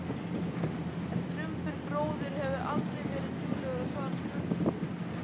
En Drumbur bróðir hefur aldrei verið duglegur að svara spurningum.